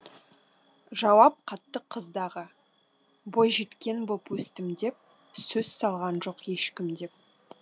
жауап қатты қыз дағы бойжеткен боп өстім деп сөз салған жоқ ешкім деп